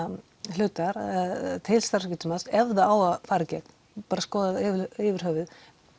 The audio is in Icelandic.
hlutar til starfsgetumats ef það á að fara í gegn bara skoðað yfir höfuð